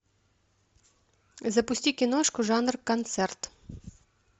запусти киношку жанр концерт